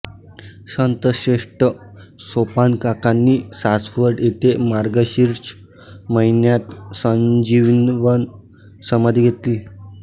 संतश्रेष्ठ सोपानकाकांनी सासवड येथे मार्गशीर्ष महिन्यात संजीवन समाधी घेतली